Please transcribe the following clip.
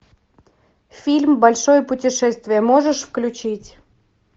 фильм большое путешествие можешь включить